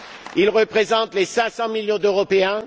Il représente les 500 millions d'Européens.